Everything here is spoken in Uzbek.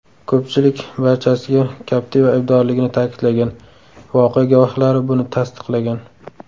Ko‘pchilik barchasiga Captiva aybdorligini ta’kidlagan, voqea guvohlari buni tasdiqlagan.